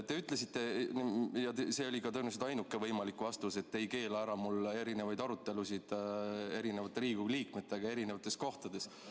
Te ütlesite, ja see oli ka tõenäoliselt ainuke võimalik vastus, et te ei keela mul pidada erinevaid arutelusid erinevate Riigikogu liikmetega erinevates kohtades.